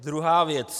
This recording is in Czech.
Druhá věc.